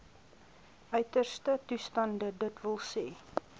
uiterste toestande dws